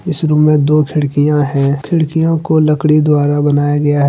इस रूम में दो खिड़कियां हैं खिड़कियों को लकड़ी द्वारा बनाया गया है ।